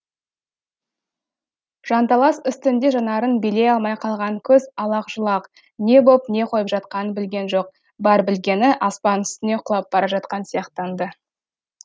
жанталас үстінде жанарын билей алмай қалған көз алақ жұлақ не боп не қойып жатқанын білген жоқ бар білгені аспан үстіне құлап бара жатқан сияқтанды